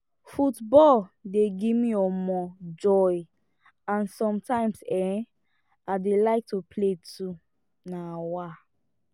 football dey give me um joy and sometimes um i dey like to play too um